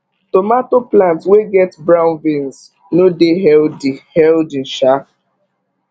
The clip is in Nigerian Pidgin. tomato plant wey get brown veins no dey healthy healthy um